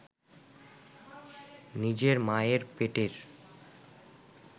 নিজের মায়ের পেটের